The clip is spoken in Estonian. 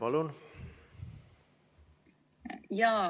Palun!